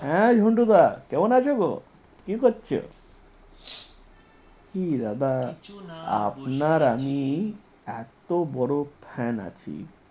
হ্যাঁ ঝন্টু দা কেমন আছো গো? কি করছো? কি দাদা আপনার আমি এত বড় fan আছি